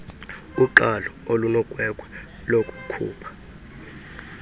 uqalo olunogwegwe lokukhupha